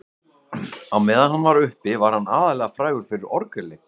á meðan hann var uppi var hann aðallega frægur fyrir orgelleik